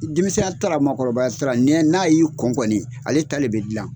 Denmisɛnya t'a ra mɔgɔkɔrɔbaya t'a ra ni n'a y'i kɔni ale ta le bɛ dilan.